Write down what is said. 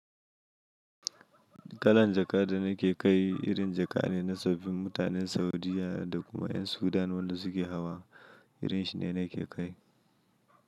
Kalan jaka da nake kai, irin jaka ne na tsoffin mutanen Saudiya da kuma ƴan Sudan wanda suke hawa. Irin shi ne nake kai.